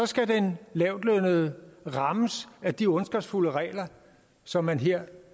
skal den lavtlønnede rammes af de ondskabsfulde regler som man her